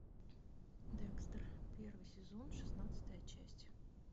декстер первый сезон шестнадцатая часть